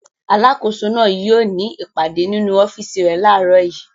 Alákòóso náà yóò ní ìpàdé nínú ọ́fíísì rẹ̀ láàárọ̀ yìí.